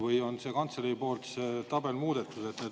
Või on kantselei poolt see tabel muudetud.